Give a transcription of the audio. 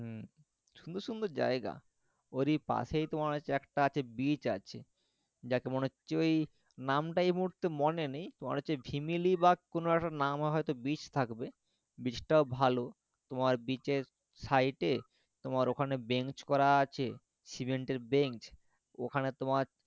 যদিও ওই নাম টা এই মুহূর্তে মনে নেই, মনে হচ্ছে যে ফিমেলি বা কোনও একটা নাম হইত beach থাকবে beach টাও ভালো তোমার beach এর side এ তোমার ওইখানে bench করা আছে সিমেন্টের bench, ওখানে তোমার